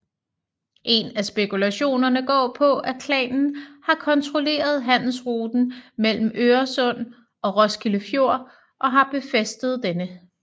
En af spekulationerne går på at klanen har kontrolleret handelsruten mellem Øresund og Roskilde Fjord og har befæstet denne